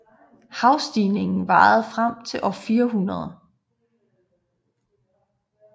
Havstigningen varede frem til år 400